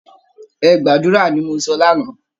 Ẹ gbàdúra, ni mo sọ lánáà!